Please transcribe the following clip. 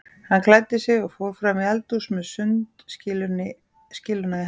Hann klæddi sig og fór fram í eldhús með sundskýluna í hendinni.